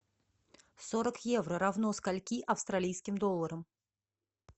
сорок евро равно скольки австралийским долларам